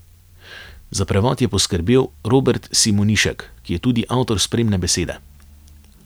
Za prevod je poskrbel Robert Simonišek, ki je tudi avtor spremne besede.